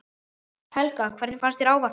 Helga: Hvernig fannst þér ávarpið?